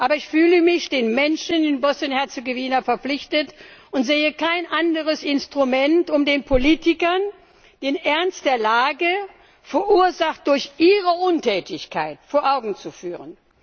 Aber ich fühle mich den Menschen in Bosnien und Herzegowina verpflichtet und sehe kein anderes Instrument, um den Politikern den Ernst der Lage verursacht durch ihre Untätigkeit vor Augen zu führen.